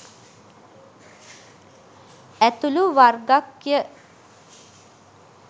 ඇතුළු වර්ග ක්ය.